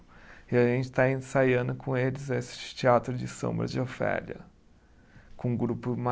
E a gente está ensaiando com eles esse Teatro de Sombras de Ofélia, com um grupo